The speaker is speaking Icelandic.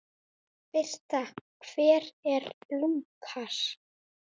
Birta: Hver er Lúkas?